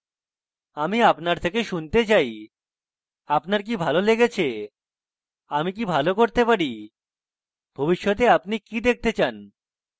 আমি আপনার থেকে শুনতে চাই আপনার কি ভালো লেগেছে আমি কি ভালো করতে পারি ভবিষ্যতে আপনি কি দেখতে চান